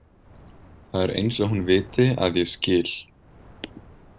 Það er eins og hún viti að ég skil.